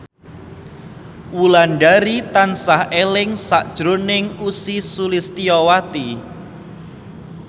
Wulandari tansah eling sakjroning Ussy Sulistyawati